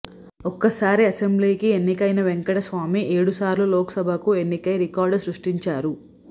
ఒక్కసారి అసెంబ్లీకి ఎన్నికైన వెంకటస్వామి ఏడుసార్లు లోక్ సభకు ఎన్నికై రికార్డు సృష్టించారు